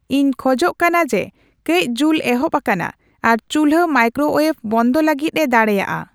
ᱤᱧ ᱠᱷᱚᱡᱚᱜ ᱠᱟᱱᱟ ᱡᱮ ᱠᱟᱹᱪ ᱡᱩᱞ ᱮᱦᱚᱵ ᱟᱠᱟᱱᱟ ᱟᱨ ᱪᱩᱞᱦᱟᱹ ᱢᱟᱭᱠᱨᱚᱳᱭᱮᱵᱷ ᱵᱚᱱᱫᱷᱚ ᱞᱟᱹᱜᱤᱫ ᱮ ᱫᱟᱲᱮᱼᱟ